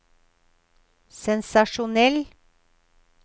sensasjonell